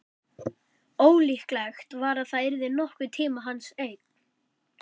Ólíklegt var að það yrði nokkurn tíma hans eign.